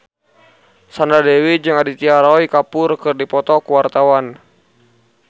Sandra Dewi jeung Aditya Roy Kapoor keur dipoto ku wartawan